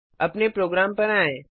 अपने प्रोग्राम पर आएँ